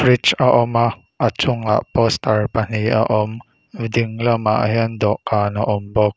reach a awm a a chungah poster pahnih a awm a ding lamah hian dawhkan a awm bawk.